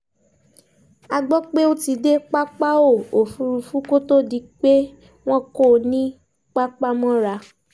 a gbọ́ pé o ti dé pápáo òfúrufú kó tóó di pé wọ́n kó o ní pàpamọ́ra